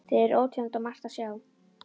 Þau eru óteljandi og margt að sjá.